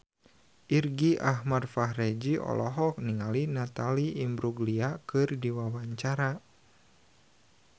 Irgi Ahmad Fahrezi olohok ningali Natalie Imbruglia keur diwawancara